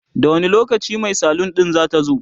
da wani lokacin Mai salun din zatazo?